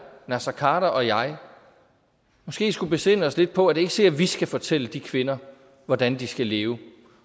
naser khader og jeg skulle besinde os lidt på at det ikke er sikkert at vi skal fortælle de kvinder hvordan de skal leve